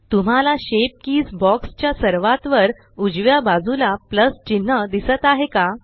तुम्हाला shape keys box च्या सर्वात वर उजव्या बाजूला प्लस चिन्ह दिसत आहे का